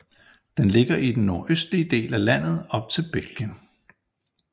Den ligger i den nordøstlige del af landet op til Belgien